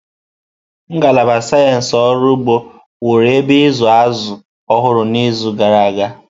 Ngalaba Sayensị Ọrụ Ugbo wụrụ ebe ịzụ azụrụ ọhụrụ n'izu gara aga.